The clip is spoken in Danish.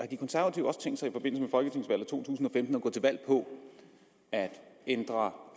de konservative også tænkt sig i to tusind og femten at gå til valg på at ændre